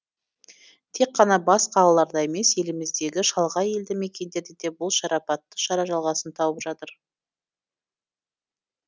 тек қана бас қалаларда емес еліміздегі шалғай елді мекендерде де бұл шарапатты шара жалғасын тауып жатыр